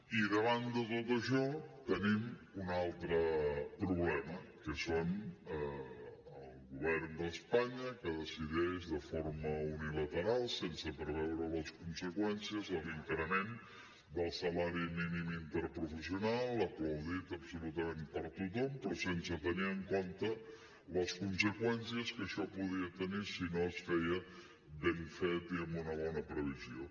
i davant de tot això tenim un altre problema que és el govern d’espanya que decideix de forma unilateral sense preveure’n les conseqüències l’increment del salari mínim interprofessional aplaudit absolutament per tothom però sense tenir en compte les conseqüències que això podia tenir si no es feia ben fet i amb una bona previsió